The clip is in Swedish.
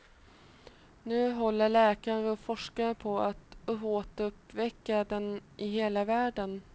Nu håller läkare och forskare på att återuppväcka den, i hela världen.